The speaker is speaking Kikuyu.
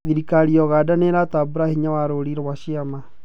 Thĩrikari ya Ũganda nĩratambũra hinya wa ruurĩ rwa ciama.